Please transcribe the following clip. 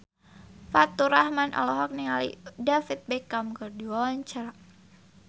Faturrahman olohok ningali David Beckham keur diwawancara